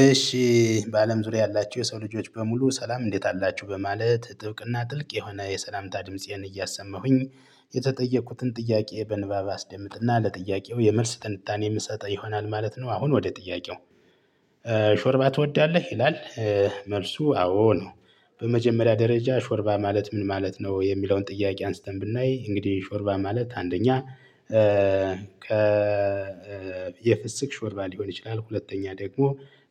እሺ በአለም ዙሪያ ያላቸው የሰው ልጆች በሙሉ ሰላም እንዴት አላችሁ በማለት ጥብቅና ጥልቅ የሆነ የሰላምታ ድምፄን እያሰማሁኝ የተጠየቁትን ጥያቄ በንባብ አስደምጥና ለጥያቄው የመልስ ትንታኔ የምሰጠው ይሆናል ማለት ነው። አሁን ወደ ጥያቄው? ሾርባ ትወዳለህ ይላል መልሱ አዎ ነው። በመጀመሪያ ደረጃ ሾርባ ማለት ምን ማለት ነው? የሚለውን ጥያቄ አንስተን ብናይ እንግዲህ ሾርባ ማለት አንደኛ የፍስክ ሾርባ ሊሆን ይችላል። ሁለተኛ ደግሞ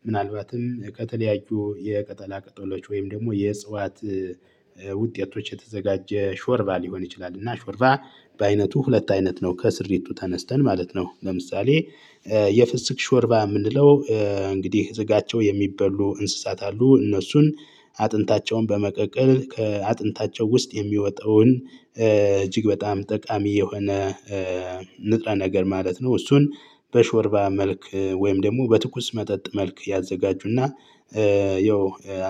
ምናልባትም ከተለያዩ የቅጠላ ቅጠሎች ወይም ደግሞ የእጽዋት ውጤቶች የተዘጋጀ ሾርባ ሊሆን ይችላል። እና ሾርባ በአይነቱ ሁለት አይነት ነው ከስሪቱ ተነስተን ማለት ነው። ለምሳሌ የፍስክ ሾርባ የምንለው እንግዲህ ስጋቸው የሚበሉ እንስሳት አሉ። እነሱን አጥንታቸውን በመቀቀል ከአጥንታቸው ውስጥ የሚወጣውን እጅግ በጣም ጠቃሚ የሆነ ንጥረ ነገር ማለት ነው። እሱን በሾርባ መልክ ወይም ደግሞ በትኩስ መጠጥ መልክ ያዘጋጁና ያው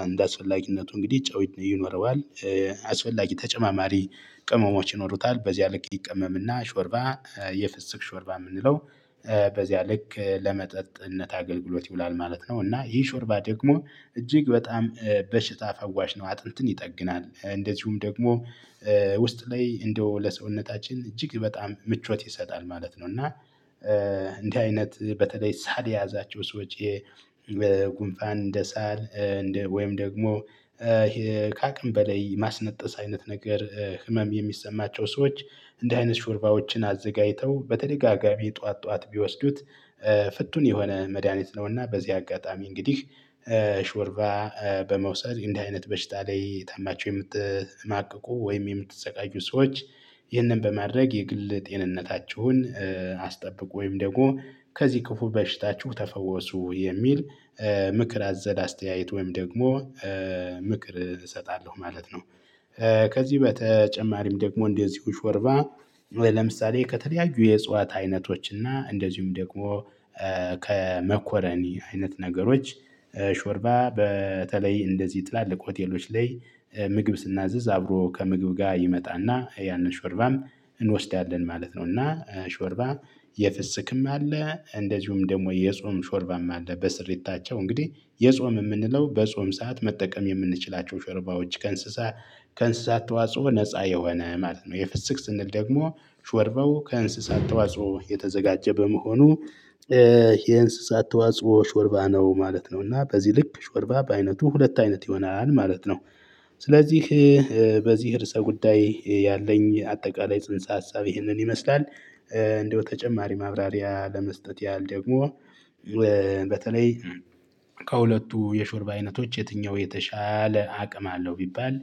አንደ አስፈላጊነቱ እንግዲህ ጨው ይኖረዋል። አስፈላጊ ተጨማማሪ ቅመሞች ይኖሩታል። በዚያ ልክ ይቀመምና ሾርባ የፍስክ ሾርባ የምንለው በዚያ ልክ ለመጠጥነት አገልግሎት ይውላል ማለት ነው። እና ይህ ሾርባ ደግሞ እጅግ በጣም በሽታ ፈዋሽ ነው አጥንትን ይጠግናል። እንደዚሁም ደግሞ ውስጥ ላይ እንደው ለሰውነታችን እጅግ በጣም ምቾት ይሰጣል ማለት ነው። እና እንዲህ አይነት በተለይ ሳል የያዛቸው ሰዎች በጉንፋን እንደ ሳል እንደ ወይም ደግሞ ከአቅም በላይ ማስነጠስ አይነት ነገር ህመም የሚሰማቸው ሰዎች እንዲህ አይነት ሹርባዎችን አዘጋጅተው በተደጋጋሚ ጠዋት ጠዋት ቢወስዱት ፍቱን የሆነ መድሃኒት ነውና። በዚህ አጋጣሚ እንግዲህ ሾርባ በመውሰድ እንዲህ አይነት በሽታ ላይ ታማችሁ የምትማቅቁ ወይም የምትሰቃዩ ሰዎች ይህንን በማድረግ የግል ጤንነታችሁን አስጠብቁ ወይም ደግሞ ከዚህ ክፉ በሽታችሁ ተፈወሱ የሚል። ምክር አዘል አስተያየት ወይም ደግሞ ምክር እሰጣለሁ ማለት ነው። ከዚህ በተጨማሪም ደግሞ እንደዚሁ ሾርባ ለምሳሌ ከተለያዩ የእጽዋት አይነቶች እና እንደዚሁም ደግሞ ከመኮረኒ አይነት ነገሮች ሾርባ በተለይ እንደዚህ ጥላልቅ ሆቴሎች ላይ ምግብ ስናዝዝ አብሮ ከምግብ ጋር ይመጣና ያንን ሾርባም እንወስዳለን ማለት ነው። እና ሾርባ የፍስክም አለ እንደዚሁም ደግሞ የጾም ሾርባም አለ። በስሪታቸው እንግዲህ የጾም የምንለው በጾም ሰዓት መጠቀም የምንችላቸው ሾርባዎች ከእንስሳ ከእንስሳ ተዋጽኦ ነፃ የሆነ ማለት ነው። የፍስክ ስንል ደግሞ ሾርባው ከእንስሳት ተዋጽኦ የተዘጋጀ በመሆኑ የእንስሳት ተዋጽኦ ሾርባ ነው ማለት ነው። እና በዚህ ልክ ሾርባ በአይነቱ ሁለት አይነት ይሆናል ማለት ነው። ስለዚህ በዚህ እርስ ጉዳይ ያለኝ አጠቃላይ ጽንሰ ሀሳብ ይህንን ይመስላል። እንደው ተጨማሪ ማብራሪያ ለመስጠት ያህል ደግሞ በተለይ ከሁለቱ የሾርብ አይነቶች የትኛው የተሻለ አቅም አለው ቢባል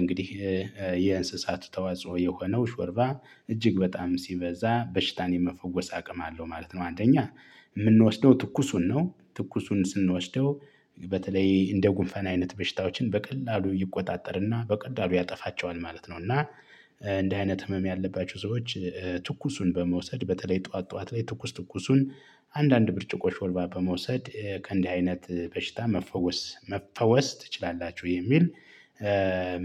እንግዲህ የእንስሳቱ ተዋጽኦ የሆነው ሾርባ እጅግ በጣም ሲበዛ በሽታን የመፈወስ አቅም አለው ማለት ነው። አንደኛ የምንወስደው ትኩሱን ነው ትኩሱን ስንወስደው በተለይ እንደ ጉንፋን አይነት በሽታዎችን በቀላሉ ይቆጣጠርና በቀላሉ ያጠፋቸዋል ማለት ነው። እና እንዲህ አይነት ህመም ያለባቸው ሰዎች ትኩሱን በመውሰድ በተለይ ጠዋት ጠዋት ላይ ትኩስ ትኩሱን አንዳንድ ብርጭቆ ሾልባ በመውሰድ ከእንዲህ አይነት በሽታ መፈወስ መፈወስ ትችላላችሁ የሚል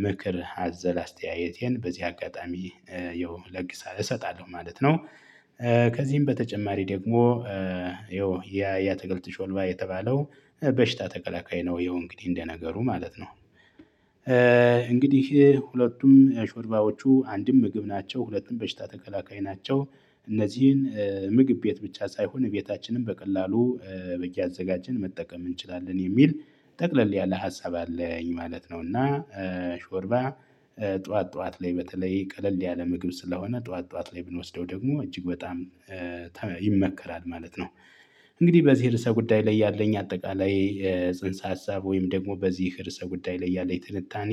ምክር አዘል አስተያየቴን በዚህ አጋጣሚ ያው እለግሳለሁ እሰጣለሁ ማለት ነው። ከዚህም በተጨማሪ ደግሞ ያው ያ ያትክልት ሾልባ የተባለው በሽታ ተከላካይ ነው ያው እንግዲህ እንደነገሩ ማለት ነው። እንግዲህ ሁለቱም ሾርባዎቹ አንድም ምግብ ናቸው ሁለትም በሽታ ተከላካይ ናቸው። እነዚህን ምግብ ቤት ብቻ ሳይሆን ቤታችንም በቀላሉ እያዘጋጀን መጠቀም እንችላለን የሚል ጠቅለል ያለ ሀሳብ አለኝ ማለት ነው። እና ሾርባ ጠዋት ጠዋት ላይ በተለይ ቀለል ያለ ምግብ ስለሆነ ጠዋት ጠዋት ላይ ብንወስደው ደግሞ እጅግ በጣም ይመከራል ማለት ነው። እንግዲህ በዚህ ርዕሰ ጉዳይ ላይ ያለኝ አጠቃላይ ጽንሰ ሀሳብ ወይም ደግሞ በዚህ ርዕሰ ጉዳይ ላይ ያለኝ ትንታኔ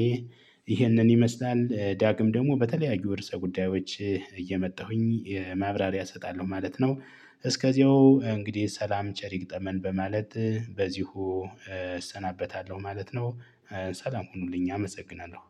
ይህንን ይመስላል። ዳግም ደግሞ በተለያዩ የርዕሰ ጉዳዮች እየመጣሁኝ ማብራሪያ እሰጣለሁ ማለት ነው። እስከዚያው እንግዲህ ሰላም ቸር ይግጠመን በማለት በዚሁ እሰናበታለሁ ማለት ነው። ሰላም ሁኑልኝ አመሰግናለሁ።